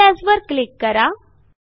save as वर click करा